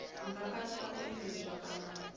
nga katela u engedzedzwa kana